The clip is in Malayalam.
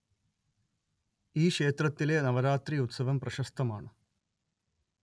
ഈ ക്ഷേത്രത്തിലെ നവരാത്രി ഉത്സവം പ്രശസ്തമാണ്